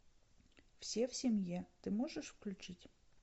все в семье ты можешь включить